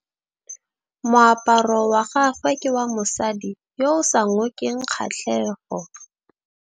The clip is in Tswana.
Moaparô wa gagwe ke wa mosadi yo o sa ngôkeng kgatlhegô.